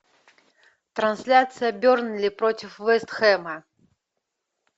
трансляция бернли против вест хэма